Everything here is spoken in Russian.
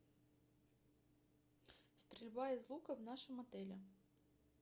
стрельба из лука в нашем отеле